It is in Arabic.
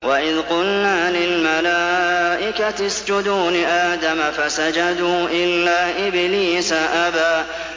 وَإِذْ قُلْنَا لِلْمَلَائِكَةِ اسْجُدُوا لِآدَمَ فَسَجَدُوا إِلَّا إِبْلِيسَ أَبَىٰ